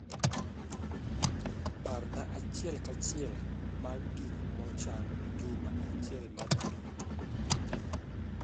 parna achiel ka achiel mag gik mo chan juma achiel mabiro